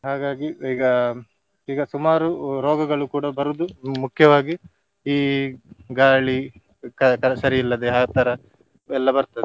ಹಾಗಾಗಿ ಈಗ ಈಗ ಸುಮಾರು ರೋಗಗಳು ಕೂಡ ಬರುವುದು ಮುಖ್ಯವಾಗಿ ಈ ಗಾಳಿ ಕ~ ಸರಿ ಇಲ್ಲದೆ ಆತರ ಎಲ್ಲ ಬರ್ತದೆ.